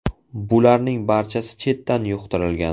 Bularning barchasi chetdan yuqtirilgan.